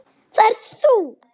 Það ert þú.